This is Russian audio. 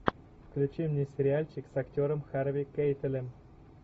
включи мне сериальчик с актером харви кейтелем